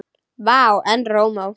Vá, en rómó.